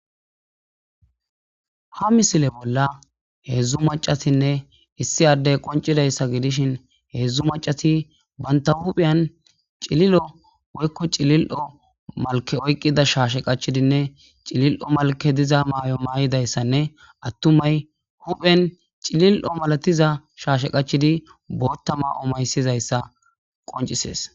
ha misile bolla heedzdzu macatinne issi addey qoncidayssa gidishin heedzdzu macati banta huphiyan cililo woykko cilil7o malke oyqida shaashe qachidinne cilil7o malke diza maay7o maay7idayssanne attumay huphen cilil7o malatiza shaashe qachidi boottama omaysizayssa qoncisees